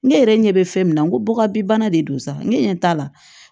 Ne yɛrɛ ɲɛ bɛ fɛn min na n ko bɔgɔ bi bana de don sa ne ɲɛ t'a la